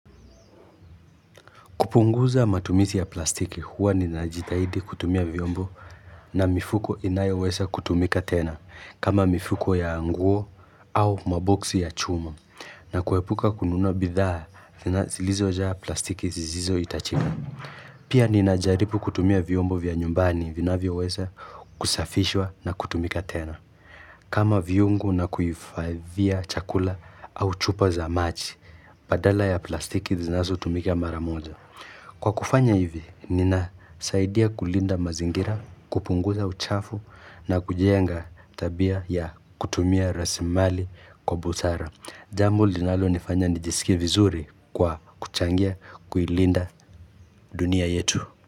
Kupunguza matumizi ya plastiki huwa ninajitahidi kutumia vyombo na mifuko inayoweza kutumika tena kama mifuko ya nguo au maboksi ya chuma na kuepuka kununua bidhaa zilizojaa plastiki zisizohitajika. Pia ninajaribu kutumia vyombo vya nyumbani vinavyoweza kusafishwa na kutumika tena kama vyungu na kuhifadhia chakula au chupa za maji badala ya plastiki zinazotumika mara moja. Kwa kufanya hivi, ninasaidia kulinda mazingira, kupunguza uchafu na kujenga tabia ya kutumia rasilimali kwa busara. Jamu linalonifanya nijiskiee vizuri kwa kuchangia kuilinda dunia yetu.